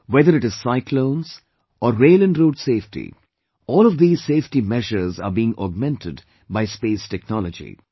Whether it is cyclone, or rail and road safety, all of these safety measures are being augmented by Space Technology